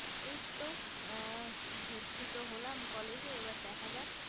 এই তো ভর্তি তো হলাম college এ এবার দেখা যাক